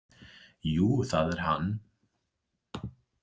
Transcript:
Jú, það er hann